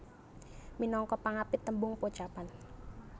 Minangka pangapit tembung pocapan